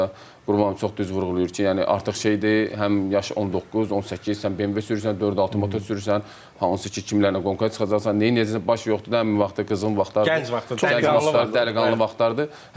Qurban müəllim çox düz vurğulayır ki, yəni artıq şeydir, həm yaşın 19, 18 sən BMW sürürsən, dörd-altı motor sürürsən, hansı ki, kimlərlə qonaqlıqlara çıxacaqsan, nəyəcəksən, baş yoxdur, nə bilim vaxtı qızğın vaxtlardır, çox aktiv, dərdiqanlı vaxtlardır.